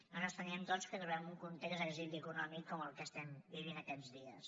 nosaltres creiem doncs que trobem un context d’exili econòmic com el que estem vivint aquests dies